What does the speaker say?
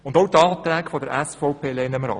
Auch die Anträge der SVP lehnen wir ab.